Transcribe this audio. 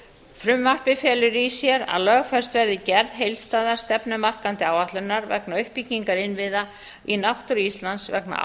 frumvarpið felur í sér að lögfest verði gerð heildstæðrar stefnumarkandi áætlunar vegna uppbyggingar innviða í náttúru íslands vegna